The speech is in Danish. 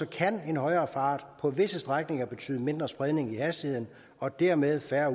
kan en højere fart på visse strækninger betyde mindre spredning i hastigheden og dermed færre